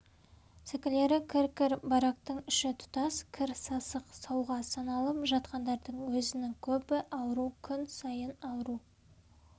сәкілері кір-кір барактың іші тұтас кір сасық сауға саналып жатқандардың өзінің көбі ауру күн сайын ауру